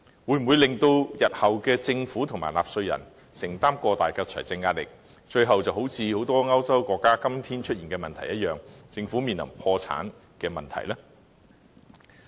會否令日後的政府和納稅人承擔過大的財政壓力，如很多歐洲國家今天出現的問題一樣，到最後政府會面臨破產呢？